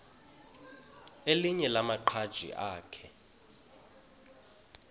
elinye lamaqhaji akhe